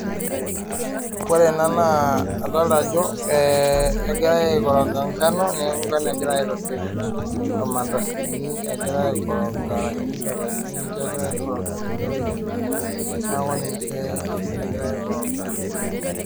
Ore naa adolita Ajo egirai aikoroga ngano neeku engano egirai aitobir irmandasini agirai aikoroga ashu chapatini niche egirai aikoraga tenewueji neeku ninche egira aikoroga